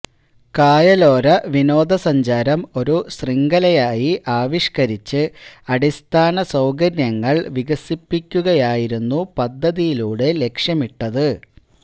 കായലോര വിനോദസഞ്ചാരം ഒരു ശൃംഖലയായി ആവിഷ്കരിച്ച് അടിസ്ഥാന സൌകര്യങ്ങള് വികസിപ്പിക്കുകയായിരുന്നു പദ്ധതിയിലൂടെ ലക്ഷ്യമിട്ടത്